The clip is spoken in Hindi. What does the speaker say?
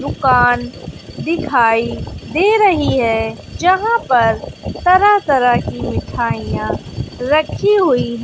दुकान दिखाई दे रही हैं जहां पर तरह तरह की मिठाइयां रखी हुई--